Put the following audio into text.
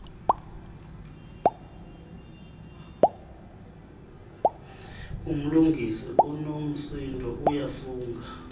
umlungisi unomsindo uyafunga